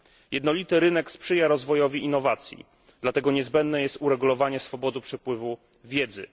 Jednolity rynek sprzyja rozwojowi innowacji, dlatego niezbędne jest uregulowanie swobody przepływu wiedzy.